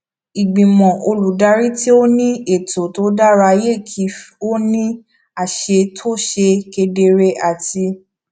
ìgbìmọ olùdarí tó ní ètò tó dára yẹ kí ó ní àṣẹ tó ṣe kedere àti